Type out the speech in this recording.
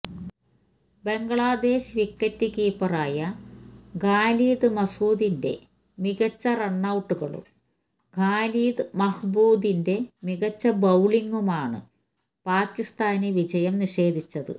Bangladesh wicket കീപ്പറായ ഖാലിദ് മഷൂദിന്റെ മികച്ച റണ്ണൌട്ടുകളും ഖാലിദ് മഹ്മൂദിന്റ മികച്ച ബൌളിങ്ങുമാണ് പാകിസ്താന് വിജയം നിഷേധിച്ചത്